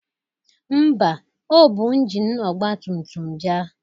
Ḿbà, o bu injini ọgbatumtum bịa.